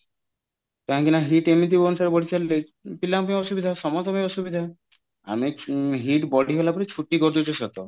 କାହିଁକି ନା heat ଏମିତି ବଢି ଚାଲିଲେ ପିଲାଙ୍କ ପାଇଁ ଅସୁବିଧା ସମସ୍ତଙ୍କ ପାଇଁ ଅସୁବିଧା ଆମେ heat ବଢିଗଲା ପରେ ଛୁଟି କରିଦଉଛେ ସତ